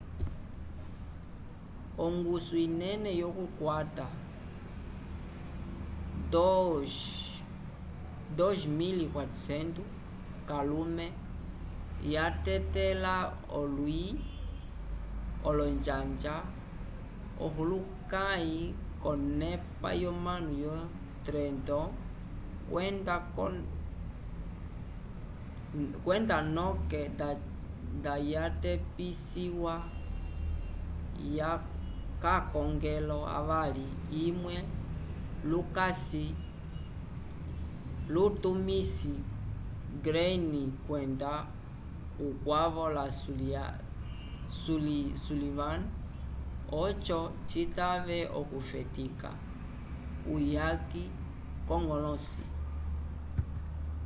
ongusu inene yokukwta 2.400 k'alume yatetela olwi olonjanja ohulukãyi k'onepa yonano yo trenton kwenda noke nda yatepisiwa k'akongelo avali imwe lutumisi greene kwenda ukwavo la sullivan oco citave okufetika uyaki k'oñgolõsi